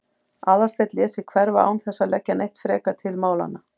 Aðalsteinn lét sig hverfa án þess að leggja neitt frekar til málanna.